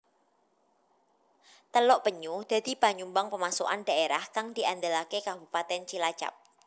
Teluk Penyu dadi panyumbang pemasukan dhaérah kang diandelaké Kabupatèn Cilacap